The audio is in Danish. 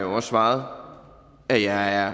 også svaret at jeg er